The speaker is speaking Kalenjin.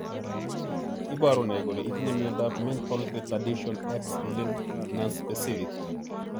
Iporu ne kole itinye miondap Mental retardation, X linked, nonspecific?